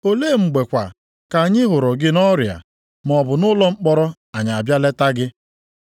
Olee mgbe kwa ka anyị hụrụ gị nʼọrịa, maọbụ nʼụlọ mkpọrọ anyị abịa leta gị?’